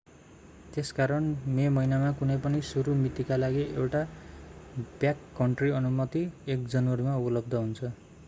त्यसकारण मे महिनामा कुनै पनि सुरु मितिका लागि एउटा ब्याककन्ट्री अनुमति 1 जनवरीमा उपलब्ध हुन्छ